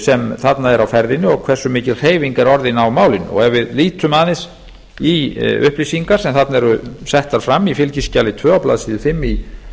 sem þarna er á ferðinni og hversu mikil hreyfing er orðin á málinu ef við lítum aðeins í upplýsingar sem þarna eru settar fram í fskj tvö á blaðsíðu fimm í